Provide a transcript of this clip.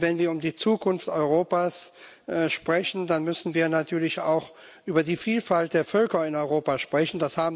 Wenn wir über die Zukunft Europas sprechen, dann müssen wir natürlich auch über die Vielfalt der Völker in Europa sprechen